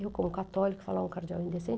Eu, como católica, falava um cardeal